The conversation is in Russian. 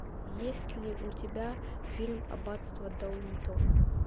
есть ли у тебя фильм аббатство даунтон